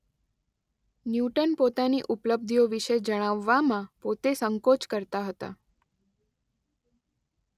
Newton પોતાની ઉપલબ્ધિઓ વિશે જણાવવામાં પોતે સંકોચ કરતા હતા.